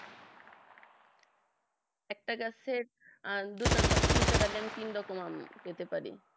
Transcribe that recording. একটা গাছের দুটো ডালে তিনটে ডালে তিন রকম আম পেতে পারি